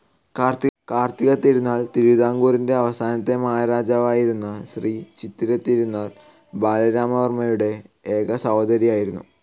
കാർത്തിക തിരുനാൾ തിരുവിതാംകൂറിൻ്റെ അവസാനത്തെ മഹാരാജാവായിരുന്ന ശ്രീ ചിത്തിര തിരുനാൾ ബാലരാമാവർമ്മയുടെ ഏക സഹോദരി ആയിരുന്നു.